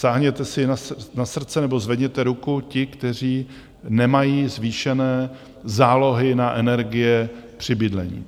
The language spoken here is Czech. Sáhněte si na srdce, nebo zvedněte ruku ti, kteří nemají zvýšené zálohy na energie při bydlení.